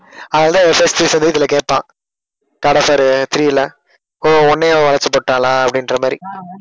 அவ்ளோதான் இதில கேட்பான் காட் ஆஃப் வார் three ல ஓ உன்னையும் அவ வளைச்சிபோட்டாளா அப்பிடின்ற மாதிரி